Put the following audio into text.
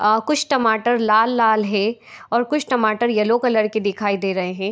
अ कुछ टमाटर लाल-लाल हैं और कुछ टमाटर येलो कलर के दिखाई दे रहे हैं।